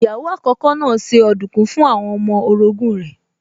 Ìyàwó àkókò náà se ọ̀dùnkún fún àwọn ọmọ orogún rẹ̀